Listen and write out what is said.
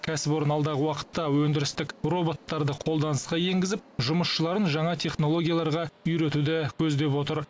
кәсіпорын алдағы уақытта өндірістік роботтарды қолданысқа енгізіп жұмысшыларын жаңа технологияларға үйретуді көздеп отыр